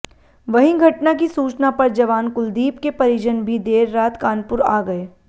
वहीं घटना की सूचना पर जवान कुलदीप के परिजन भी देर रात कानपुर आ गए